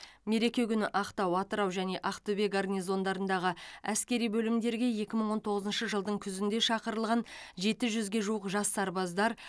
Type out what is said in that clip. мереке күні ақтау атырау және ақтөбе гарнизондарындағы әскери бөлімдерге екі мың он тоғызыншы жылдың күзінде шақырылған жеті жүзге жуық жас сарбаздар